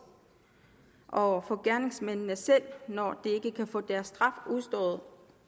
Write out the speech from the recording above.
og for gerningsmændene selv når de ikke kan få deres straf udstået